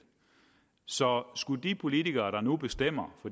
så skulle de politikere der nu bestemmer